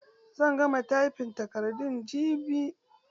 Zan gama taifin takardun jibi.